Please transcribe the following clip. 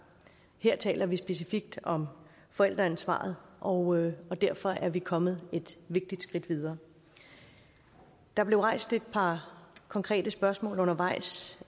her taler vi specifikt om forældreansvaret og og derfor er vi kommet et vigtigt skridt videre der blev rejst et par konkrete spørgsmål undervejs